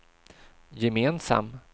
gemensam